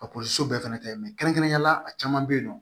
bɛɛ fɛnɛ tɛ kɛrɛnkɛrɛnnenya la a caman bɛ yen nɔ